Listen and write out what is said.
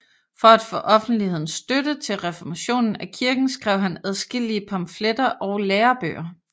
For at få offentlighedens støtte til reformationen af kirken skrev han adskillige pamfletter og lærebøger